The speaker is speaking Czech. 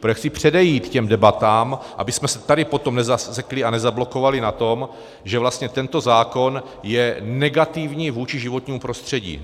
Protože chci předejít těm debatám, abychom se tady potom nezasekli a nezablokovali na tom, že vlastně tento zákon je negativní vůči životnímu prostředí.